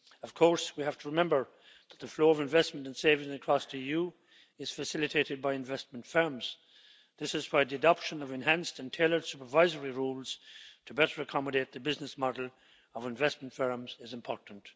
Of course we have to remember that the flow of investment and saving across the EU is facilitated by investment firms. This is why the adoption of enhanced and tailored supervisory rules to better accommodate the business model of investment firms is important.